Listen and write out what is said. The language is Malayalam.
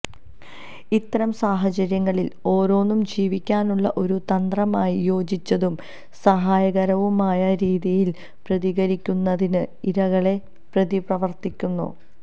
ഇത്തരം സാഹചര്യങ്ങളിൽ ഓരോന്നും ജീവിക്കാനുള്ള ഒരു തന്ത്രമായി യോജിച്ചതും സഹായകരവുമായ രീതിയിൽ പ്രതികരിക്കുന്നതിന് ഇരകളെ പ്രതിപ്രവർത്തിക്കുന്നു